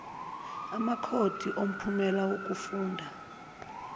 amakhodi omphumela wokufunda